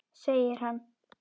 Segir hann.